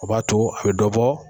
O b'a to a be dɔ bɔ